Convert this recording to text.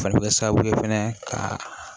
O fana bɛ kɛ sababu ye fɛnɛ ka